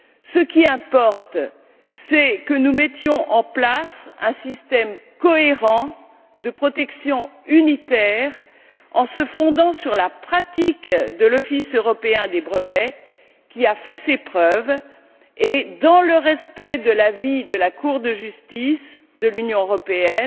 Ce qui importe, c'est que nous mettions en place un système cohérent de protection unitaire en se fondant sur la pratique de l'Office européen des brevets qui a fait ses preuves et dans le respect de l'avis de la Cour de justice de l'Union européenne